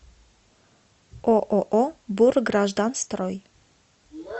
ооо бургражданстрой